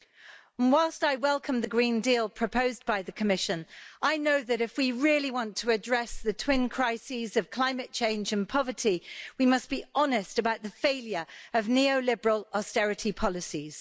And whilst I welcome the Green Deal proposed by the Commission, I know that if we really want to address the twin crises of climate change and poverty, we must be honest about the failure of neoliberal austerity policies.